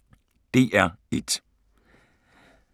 DR1